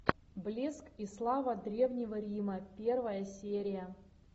блеск и слава древнего рима первая серия